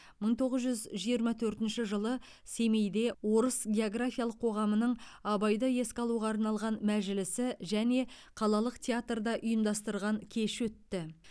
мың тоғыз жүз жиырма төртінші жылы семейде орыс географиялық қоғамының абайды еске алуға арналған мәжілісі және қалалық театрда ұйымдастырған кеші өтті